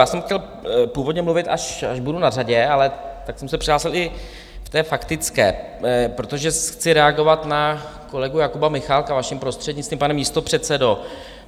Já jsem chtěl původně mluvit, až budu na řadě, ale tak jsem se přihlásil i v té faktické, protože chci reagovat na kolegu Jakuba Michálka, vaším prostřednictvím, pane místopředsedo.